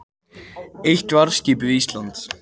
Eitt varðskip við Ísland